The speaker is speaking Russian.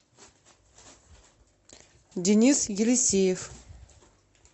денис елисеев